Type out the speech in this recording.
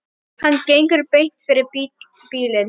Hann gengur beint fyrir bílinn.